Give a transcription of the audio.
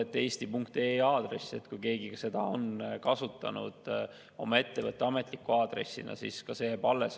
Kui keegi on kasutanud eesti.ee aadressi oma ettevõtte ametliku aadressina, siis ka see jääb alles.